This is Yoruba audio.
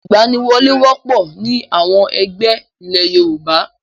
Ìgbaniwọlé wọ́pọ̀ ní àwọn ẹgbẹ́ ilé Yorùbá.